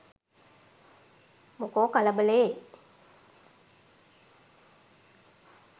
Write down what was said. මොකෝ කලබලේ